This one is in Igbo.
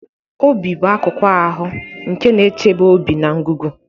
Obi bụ akụkụ ahụ nke na-echebe obi na ngụgụ.